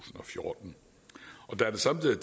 og fjorten og da der samtidig